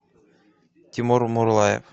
тимур мурлаев